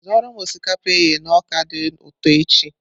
Zụoro m osikapa eghe na ọka dị ụtọ echi!